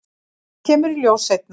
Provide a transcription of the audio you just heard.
Það kemur í ljós seinna.